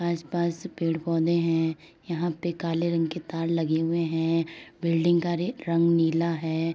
आस-पास पेड़ पौधे हैं। यहां पे काले रंग के तार लगे हुए हैं। बिल्डिंग का रे रंग नीला है।